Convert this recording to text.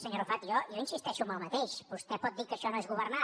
senyor arrufat jo insisteixo en el mateix vostè pot dir que això no és governar